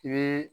I bɛ